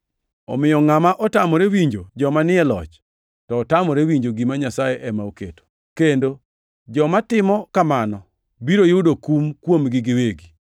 Omiyo, ngʼama otamore winjo joma ni e loch, to otamore winjo gima Nyasaye ema oketo, kendo joma timo kamano biro yudo kum kuomgi giwegi.